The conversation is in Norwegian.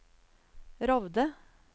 Rovde